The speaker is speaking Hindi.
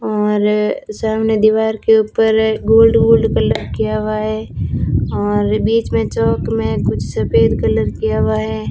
और सामने दीवार के ऊपर है गोल्ड गोल्ड कलर किया हुआ है और बीच में चौक में कुछ सफेद कलर किया हुआ है।